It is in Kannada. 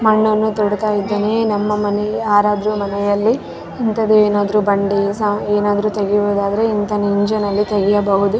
ಮಣ್ಣನ್ನು ತೊಡುತ್ತಾ ಇದ್ದಾನೆ ನಮ್ಮ ಮನೆ ಆರಾದ್ರು ಮನೆಯಲ್ಲಿ ಇಂತದೆ ಏನಾದ್ರು ಬಂಡೆ ಸ ಏನಾದ್ರು ತೆಗೆಯುವುದಾದರೆ ಇಂತಹ ನಿಂಜಾಲ್ ಲ್ಲಿ ತೆಗೆಯಬಹುದು.